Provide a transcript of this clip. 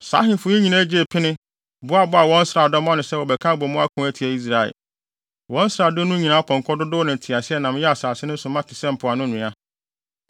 Saa ahemfo yi nyinaa gyee pene, boaboaa wɔn nsraadɔm ano sɛ wɔbɛka abɔ mu ako atia Israel. Wɔn nsraadɔm no nyinaa apɔnkɔ dodow ne nteaseɛnam yɛɛ asase no so ma te sɛ mpoano nwea.